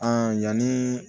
yanni